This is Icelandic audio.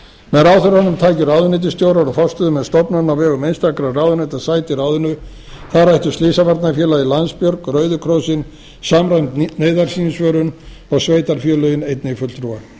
með ráðherranum tæki ráðuneytisstjórar og forstöðumenn stofnana á vegum einstakra stofnana sæti í ráðinu þar ættu slysavarnafélagið landsbjörg rauðikrossinn samræmd neyðarsímsvörun og sveitarfélögin einnig fulltrúa